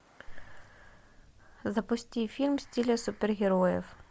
запусти фильм в стиле супергероев